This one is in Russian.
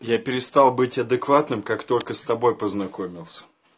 я перестал быть адекватным как только с тобой познакомился